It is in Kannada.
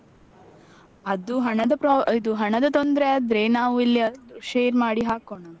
ಅದು ಹಣದ ಇದು ಹಣದ ತೊಂದ್ರೆ ಆದ್ರೆ ನಾವು ಎಲ್ಲಿಯಾದ್ರೂ share ಮಾಡಿ ಹಾಕೋಣ.